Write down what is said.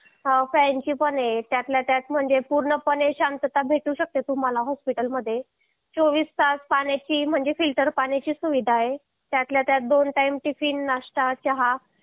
fan ची पण आहे त्यातल्या त्यात म्हणजे पूर्णपणे शांतता भेटू शकते तुम्हाला हॉस्पिटलमध्ये चोवीस तास पाण्याची म्हणजे फिल्टर पाण्याची सुविधा आहे त्यातल्या त्यात दोन टाइम टिफिन नाष्टा चहा